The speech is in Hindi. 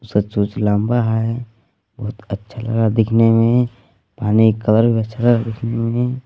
उसका चोंच लंबा है बहुत अच्छा लग रहा दिखने में पानी कलर भी अच्छा लग रहा है दिखने में।